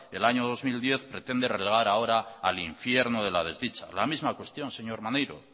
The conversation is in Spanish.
el año dos mil diez pretende relevar ahora al infierno de la desdicha la misma cuestión señor maneiro